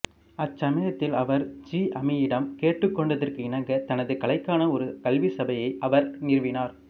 அச்சமயத்தில் அவர் ஜிஅமியிடம் கேட்டுக்கொண்டதற்கிணங்க தனது கலைக்கான ஒரு கல்விச் சபையை அவர் நிறுவினார்